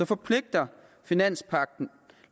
forpligter finanspagten